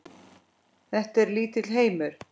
Þetta er lítill heimur.